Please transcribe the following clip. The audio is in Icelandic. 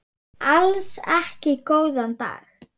Alls ekki góðan daginn.